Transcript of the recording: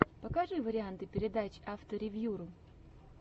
покажи варианты передач авторевьюру